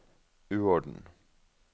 uorden